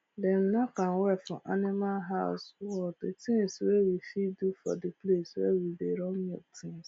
dem nack am well for animal house wall d tins wey we fit do for d place where we dey run milk tins